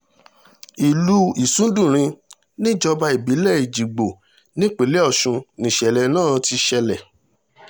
ìlú ìsùndúnrìn nìjọba ìbílẹ̀ èjìgbò nípìnlẹ̀ ọ̀sùn níṣẹ̀lẹ̀ náà ti ṣẹlẹ̀